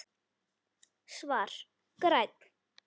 Svar: Grænn